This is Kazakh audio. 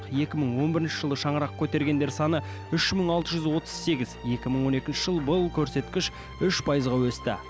екі мың он бірінші жылы шаңырақ көтергендер саны үш мың алты жүз отыз сегіз екі мың он екінші жыл бұл көрсеткіш үш пайызға өсті